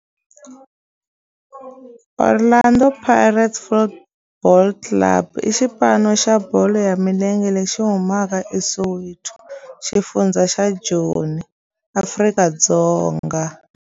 Orlando Pirates Football Club i xipano xa bolo ya milenge lexi humaka eSoweto, xifundzha xa Joni, Afrika-Dzonga.